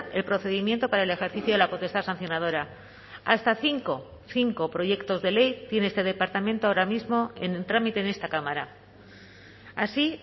el procedimiento para el ejercicio de la potestad sancionadora hasta cinco cinco proyectos de ley tiene este departamento ahora mismo en trámite en esta cámara así